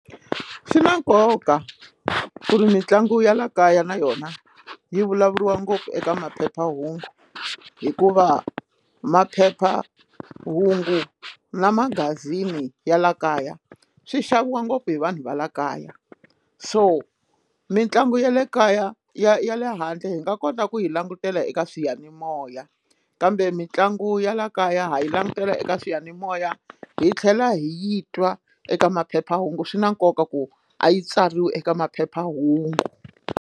Swi na nkoka ku ri mitlangu ya la kaya na yona yi vulavuriwa ngopfu eka maphephahungu hikuva maphephahungu na magazini ya la kaya swi xaviwa ngopfu hi vanhu va la kaya so mitlangu ya le kaya ya ya le handle hi nga kota ku yi langutela eka swiyanimoya kambe mitlangu ya laha kaya ha yi langutela eka swiyanimoya hi tlhela hi yi twa eka maphephahungu swi na nkoka ku a yi tsariwe eka maphephahungu.